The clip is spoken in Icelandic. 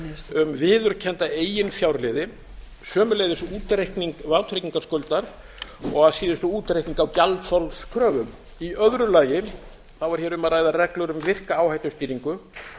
um viðurkennda eiginfjárliði sömuleiðis útreikning vátryggingarskuldar og að síðustu útreikning á gjaldþolskröfum í öðru lagi er hér um að ræða reglur um virka áhættustýringu